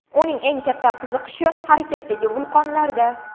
Uning eng katta qiziqishi harakatdagi vulqonlarda.